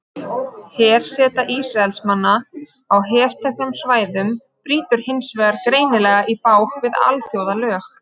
Herseta Ísraelsmanna á herteknu svæðunum brýtur hins vegar greinilega í bága við alþjóðalög.